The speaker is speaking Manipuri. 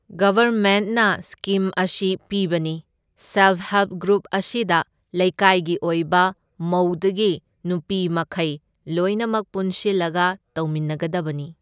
ꯒꯕꯔꯃꯦꯟꯠꯅ ꯁ꯭ꯀꯤꯝ ꯑꯁꯤ ꯄꯤꯕꯅꯤ, ꯁꯦꯜꯐ ꯍꯦꯜꯞ ꯒ꯭ꯔꯨꯞ ꯑꯁꯤꯗ ꯂꯩꯀꯥꯏꯒꯤ ꯑꯣꯏꯕ ꯃꯧꯗꯒꯤ ꯅꯨꯄꯤ ꯃꯈꯩ ꯂꯣꯏꯅꯃꯛ ꯄꯨꯟꯁꯤꯜꯂꯒ ꯇꯧꯃꯤꯟꯅꯒꯗꯕꯅꯤ꯫